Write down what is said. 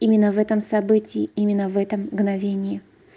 именно в этом событии именно в этом мгновении